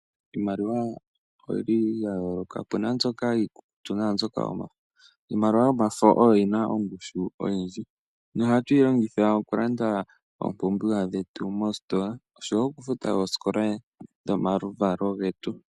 Iimaliwa oyi li ya yooloka. Opuna mbyoka iikukutu naambyoka yomafo. Iimaliwa yomafo oyo yina ongushu oyindji, nohatuyi longitha okulanda iipumbiwa yetu moositola, noshowo okufuta oosikola dhomaluvalo getu.